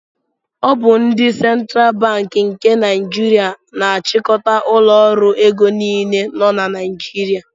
Ọ bụ ndị Central Banki nke Naijiria na-achịkọta ụlọ ọrụ ego niile nọ na Naijiria.